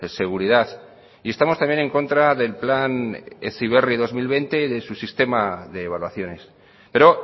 seguridad y estamos también en contra del plan heziberri dos mil veinte y de su sistema de evaluaciones pero